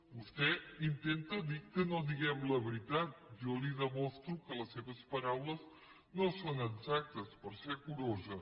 vostè intenta dir que no diguem la veritat jo li demostro que les seves paraules no són exactes per ser curosa